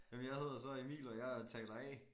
Jamen jeg hedder så Emil og jeg er taler A